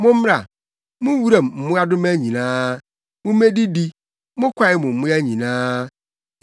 Mommra, mo wuram mmoadoma nyinaa, mummedidi, mo kwae mu mmoa nyinaa!